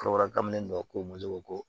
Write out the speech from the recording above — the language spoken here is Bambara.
Kɔrɔbɔrɔkan min ko mun de b'o ko